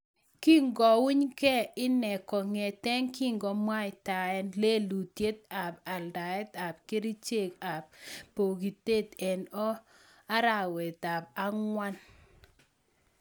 Kikouny gei inee kongetee kakimwaitaen lelutiet ap aldaet ap kericheek ap pokitet eng arawet ap angwan